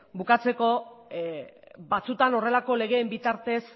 bukatzeko batzutan horrelako legeen bitartez